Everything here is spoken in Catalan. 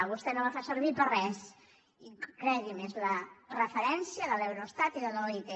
vostè no la fa servir per a res i cregui’m és la referència de l’eurostat i de l’oit